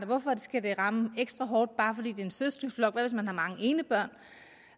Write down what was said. hvorfor det skal ramme ekstra hårdt bare fordi det er en søskendeflok og man har mange enebørn